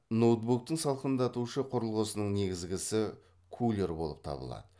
ноутбуктық салқындатушы құрылғысының негізгісі кулер болып табылады